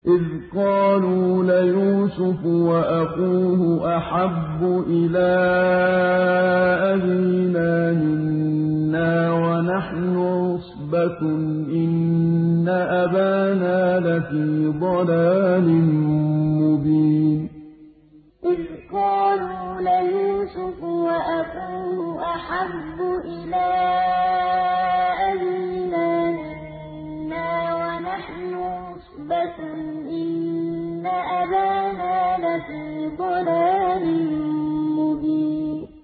إِذْ قَالُوا لَيُوسُفُ وَأَخُوهُ أَحَبُّ إِلَىٰ أَبِينَا مِنَّا وَنَحْنُ عُصْبَةٌ إِنَّ أَبَانَا لَفِي ضَلَالٍ مُّبِينٍ إِذْ قَالُوا لَيُوسُفُ وَأَخُوهُ أَحَبُّ إِلَىٰ أَبِينَا مِنَّا وَنَحْنُ عُصْبَةٌ إِنَّ أَبَانَا لَفِي ضَلَالٍ مُّبِينٍ